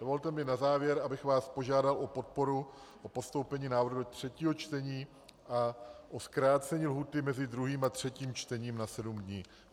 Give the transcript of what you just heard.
Dovolte mi na závěr, abych vás požádal o podporu, o postoupení návrhu do třetího čtení a o zkrácení lhůty mezi druhým a třetím čtením na sedm dní.